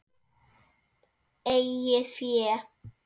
Eigið fé